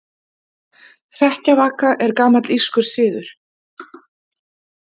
Hrekkjavaka er gamall írskur siður.